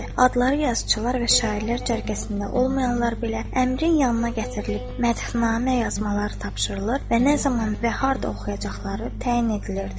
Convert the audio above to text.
Adları yazıçılar və şairlər cərgəsində olmayanlar belə Əmirin yanına gətirilib, mədhnamə yazmaları tapşırılır və nə zaman və harda oxuyacaqları təyin edilirdi.